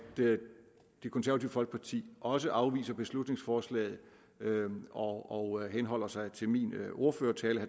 det konservative folkeparti også afviser beslutningsforslaget og henholder sig til min ordførertale